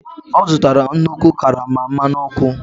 Ọ zụtara nnukwu karama mmanụ ọkụ.